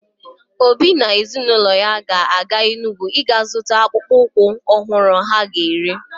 Obi na ezinụlọ ya ga-aga Enugwu iga zụta akpụkpọ ụkwụ ọhụrụ ha ga-ere.